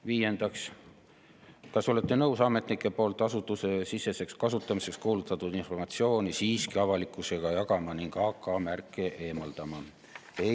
Viiendaks: "Kas olete nõus ametnike poolt asutusesiseseks kasutamiseks kuulutatud informatsiooni siiski avalikkusega jagama ning nn "AK" märke eemaldama?